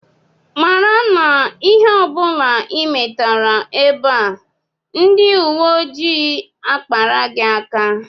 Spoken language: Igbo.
Mara na ihe ọ bụla ị metara ebe a, ndị uwe ojii akpara gị aka!